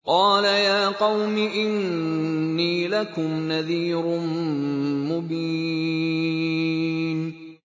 قَالَ يَا قَوْمِ إِنِّي لَكُمْ نَذِيرٌ مُّبِينٌ